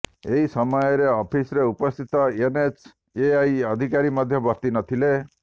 ଏହି ସମୟରେ ଅଫିସ୍ରେ ଉପସ୍ଥିତ ଏନ୍ଏଚ୍ଏଆଇ ଅଧିକାରୀ ମଧ୍ୟ ବର୍ତ୍ତି ନଥିଲେ